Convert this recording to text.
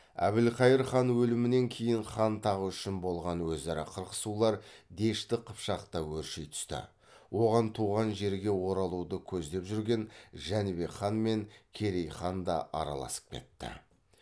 әбілқайыр хан өлімінен кейін хан тағы үшін болған өзара қырқысулар дешті қыпшақта өрши түсті оған туған жерге оралуды көздеп жүрген жәнібек хан мен керей хан да араласып кетті